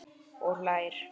Og hlær.